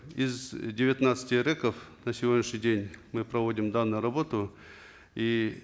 из девятнадцати рэк ов на сегодняшний день мы проводим данную работу и